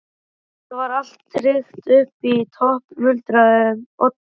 Þetta var allt tryggt upp í topp- muldraði Oddur.